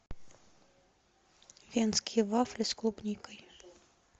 венские вафли с клубникой